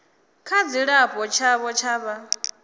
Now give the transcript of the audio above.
tsha dzilafho tshavho tsha vha